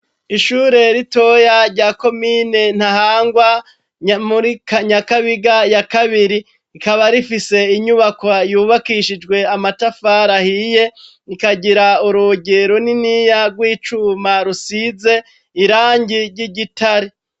Ishure ritoya rya komine Ntahangwa muri Nyakabiga ya kabiri rikaba rifise inyubakwa yubakishijwe amatafari ahiye rikagira urugi runiniya rw'icuma rusize irangi ry'igitare.